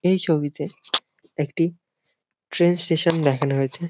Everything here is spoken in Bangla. এই ছবিতে একটি ট্রেন স্টেশন দেখানো হয়েছে।